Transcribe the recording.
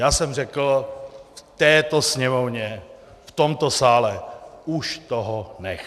Já jsem řekl v této Sněmovně, v tomto sále: Už toho nech!